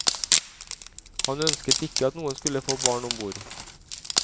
Han ønsket ikke at noen skulle få barn ombord.